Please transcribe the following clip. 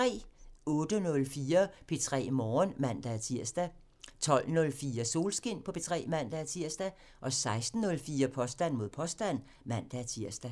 08:04: P3 Morgen (man-tir) 12:04: Solskin på P3 (man-tir) 16:04: Påstand mod påstand (man-tir)